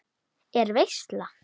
Er veisla?